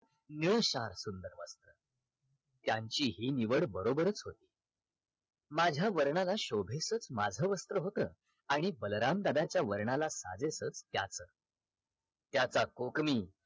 निळशार सुंदरवन त्यांची हि निवड बरोबरच होती माझ्या वर्णाला शोभेस माझ वस्त्र होत आणि बलराम दादाच्या वर्णाला साजेस त्याच त्याचा कोकणी